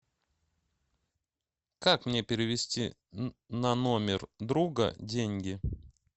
как мне перевести на номер друга деньги